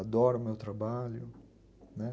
Adoro o meu trabalho, né.